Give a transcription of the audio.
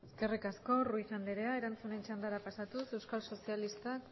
eskerrik asko ruiz andrea erantzunen txandara pasatuz euskal sozialistak